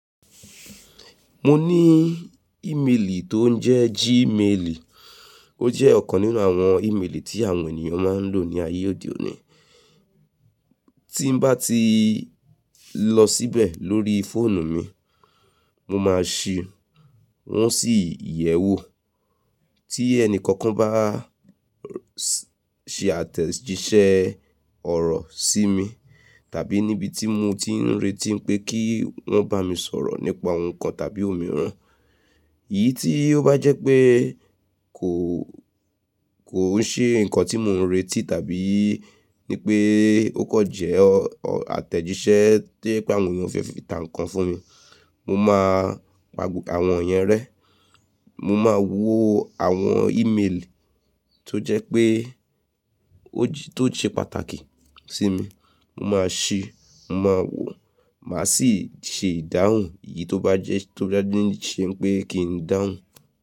Mo ní ìmeèlì tó ń jẹ́ Gmail, ó jẹ́ ọ̀kan nínú àwọn ìmeèlì tí àwọn ènìyàn máa ń lò ní ayé òde òní. Tí bá ti lọ síbẹ̀ lórí fóònù mi, mo máa ṣi, wọ́n sì yẹ̀ wò. Tí ẹnìkọ̀ọ̀kan bá ṣe àtẹ̀jíṣẹ́ ọ̀rọ̀ sí mi tàbí níbi tí mo ti ń retí pé kí wọ́n bá mi sọ̀rọ̀ nípa ohun kan tàbí òmíràn, iyí tí ó bá jẹ́ pé kò, kò ń ṣe nǹkan tí mò ń retí tàbí ní pé ó kọ̀ jẹ́ àtẹ̀jíṣẹ́ to ye pé àwọn ènìyàn fẹ́ fi tà nkàn fún mi, mo máa pa àwọn yẹn rẹ́. Mo máa wó àwọn ìmeèlì tó jẹ́ pé ó ti, tó ṣe pàtàkì sí mi, mo máa ṣi, mo máa wò, màá sì ṣe ìdáhùn èyí tó bá jẹ́, tó bá ní ṣe pé kí n dáhùn.